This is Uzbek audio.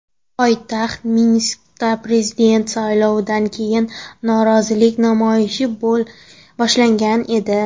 Poytaxt Minskda prezident saylovidan keyin norozilik namoyishi boshlangan edi .